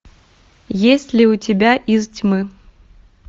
есть ли у тебя из тьмы